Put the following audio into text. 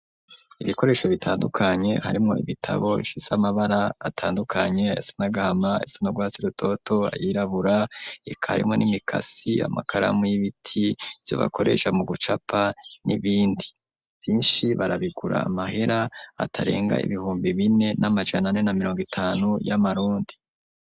Ibikoresho bitandukanye, harimwo ibitabo bifise amabara atandukanye ayasa n'agahama, ayasa n'urwatsi rutoto, ayirabura, eka harimwo n'imikasi, amakaramu y'ibiti, ivyo bakoresha mu gucapa n'ibindi; vyinshi barabigura amahera, atarenga ibihumbi bine n'amajana ane na mirongo itanu y'amarundi.